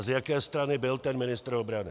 A z jaké strany byl ten ministr obrany?